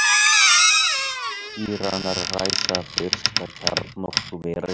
Íranar ræsa fyrsta kjarnorkuverið